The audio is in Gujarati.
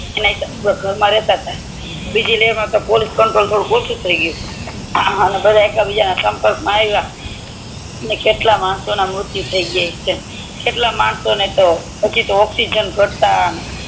એમાંય તે ઘરમાં રેતતા બીજી લહેર માતો પોલીસ કંટ્રોલ ઓછું થી ગયું તુ અને બધાય એકબીજા ના સંપર્ક મા આયવ ને કેટલા માણસો ના મૃત્યુ થય ગ્યા હસે કેટલાય માણસો ને પછી ઑક્સીજન ગટતા ને